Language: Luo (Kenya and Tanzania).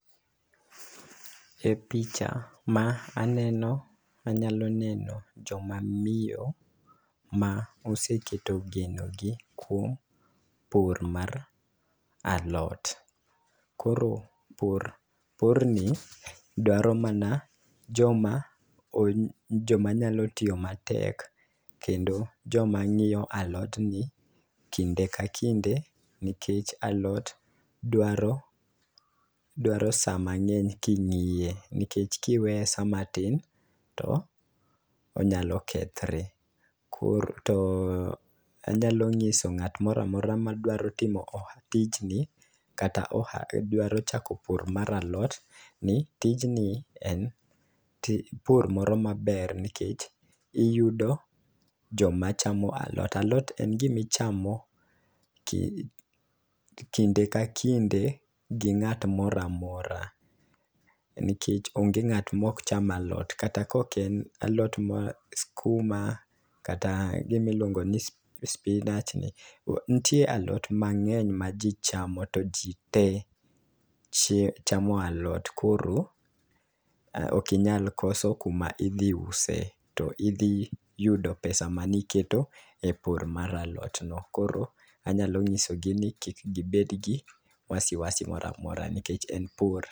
E picha ma aneno anyalo neno joma miyo ma oseketo geno gi kuom pur mar alot. Koro pur pur ni dwaro mana joma o joma nyalo tiyo matek kendo joma ng'iyo alot ni kinde ka kinde nikech, alot dwaro dwaro saa mang'eny king'iye nikech kiweye saa matin to onyalo kethre .Koro to anyalo ng'iso ng'at moramora madwaro timo tij ni kata oha dwaro chako our mar alot ni tijni en pur moro maber nikech iyudo joma chamo alot alot en gimichamo ki kinde ka kinde gi ng'at moramora . Nikech onge ng'at mok cham alot kata kok en alot skuma kata gimi luongo ni spinach ni ntie alot mang'eny ma jii chamo to ji tee chamo alot koro okinyal koso kuma idhi use to idhi yudo pesa maniketo e pur mar alot no .Koro anyalo ng'iso gi ni kik gibed gi wasiwasi moramora nikech en pur.